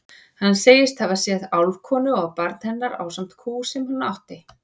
Hann segist hafa séð álfkonu og barn hennar ásamt kú sem hún átti.